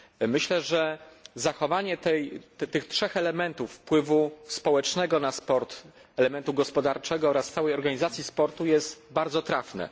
Myślę, że zachowanie tych trzech elementów wpływu społecznego na sport, elementu gospodarczego oraz całej organizacji sportu jest bardzo trafne.